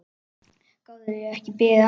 Gátuð þið ekki beðið aðeins?